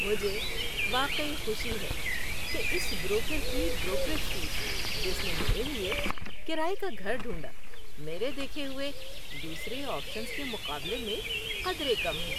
مجھے واقعی خوشی ہے کہ اس بروکر کی بروکریج فیس جس نے میرے لیے کرایے کا گھر ڈھونڈا، میرے دیکھے ہوئے دوسرے آپشنز کے مقابلے میں قدرے کم ہیں۔